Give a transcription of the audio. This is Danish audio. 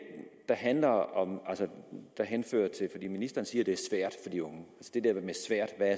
handler om ministeren siger at det er svært for de unge